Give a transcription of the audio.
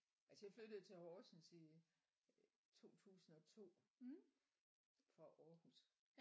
Altså jeg flyttede til Horsens i 2002 fra Aarhus